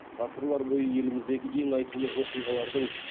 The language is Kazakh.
ғасырлар бойы еліміздегі ең айтулы оқиғалардың